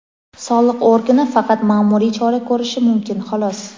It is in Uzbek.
Soliq organi faqat ma’muriy chora ko‘rishi mumkin xolos.